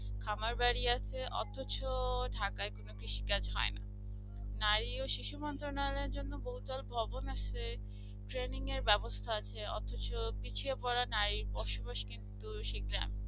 আমার বাড়ি আছে অথচ ঢাকায় কোনো বেশি কাজ হয় না নারী ও শিশু মন্ত্রণালয়ের জন্য বহু দল ভবন আশ্রমে training এর এর ব্যবস্থা আছে অথচ পিছিয়ে পড়া নারীর বসবাস কিন্তু সেই গ্রামে